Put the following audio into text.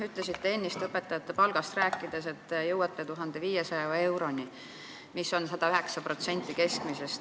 Ütlesite ennist õpetajate palgast rääkides, et te jõuate 1500 euroni, mis on võrreldes riigi keskmise palgaga 109%.